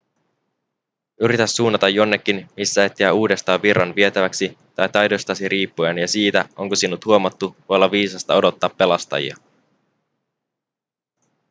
yritä suunnata jonnekin missä et jää uudestaan virran vietäväksi tai taidoistasi riippuen ja siitä onko sinut huomattu voi olla viisasta odottaa pelastajia